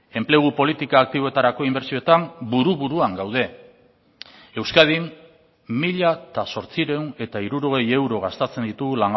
enplegu politika aktiboetarako inbertsioetan buru buruan gaude euskadin mila zortziehun eta hirurogei euro gastatzen ditugu